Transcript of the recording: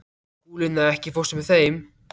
Skúlína, ekki fórstu með þeim?